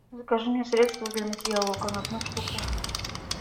закажи мне средство для мытья окон одну штуку